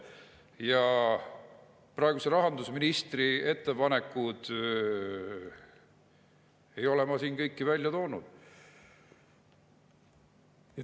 Ja praeguse rahandusministri ettepanekuid ei ole ma siin kõiki välja toonud.